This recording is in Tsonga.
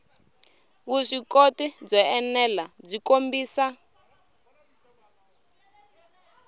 vuswikoti byo enela byi kombisa